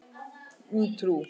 Um trú.